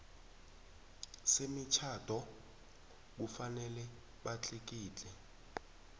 semitjhado kufanele batlikitle